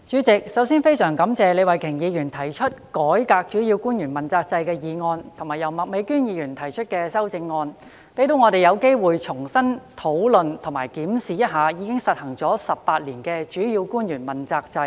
主席，首先，我十分感謝李慧琼議員提出"改革主要官員問責制"的議案及麥美娟議員提出修正案，讓我們有機會重新討論及檢視一下已實施18年的主要官員問責制。